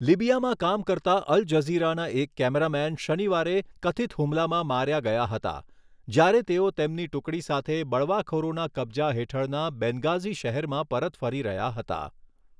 લિબિયામાં કામ કરતા અલ જઝીરાના એક કૅમેરામેન શનિવારે કથિત હુમલામાં માર્યા ગયા હતા, જ્યારે તેઓ તેમની ટુકડી સાથે બળવાખોરોના કબજા હેઠળના બેન્ગાઝી શહેરમાં પરત ફરી રહ્યા હતા.